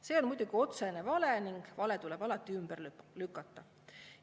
See on muidugi otsene vale ning vale tuleb alati ümber lükata.